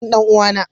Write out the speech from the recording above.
Dan dan uwa.